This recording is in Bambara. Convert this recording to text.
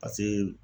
Paseke